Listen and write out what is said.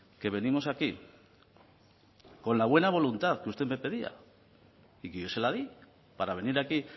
que venimos aquí con la buena voluntad que usted me pedía y que yo se la di para venir aquí